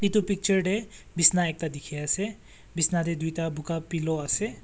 etu picture teh bisna ekta dikhi ase bisna teh duita boga ase.